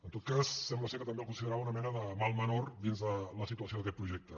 en tot cas sembla que també el considerava una mena de mal menor dins de la situació d’aquest projecte